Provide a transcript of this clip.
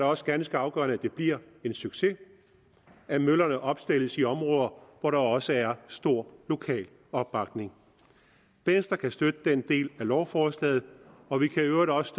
også ganske afgørende at det bliver en succes at møllerne opstilles i områder hvor der også er stor lokal opbakning venstre kan støtte den del af lovforslaget og vi kan i øvrigt også